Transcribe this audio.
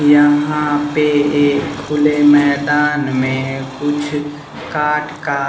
यहां पे एक खुला मैदान में कुछ काठ का--